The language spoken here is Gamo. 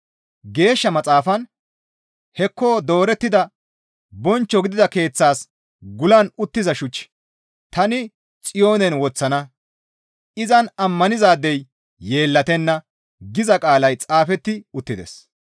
Geeshsha Maxaafan, «Hekko doorettida bonchcho gidida keeththas gulan uttiza shuch tani Xiyoonen woththana; izan ammanizaadey yeellatenna» giza qaalay xaafetti uttides.